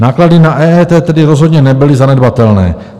Náklady na EET tedy rozhodně nebyly zanedbatelné.